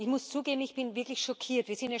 Ich muss zugeben, ich bin wirklich schockiert.